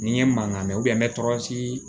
Ni ye mankan mɛn n bɛ tɔɔrɔ siri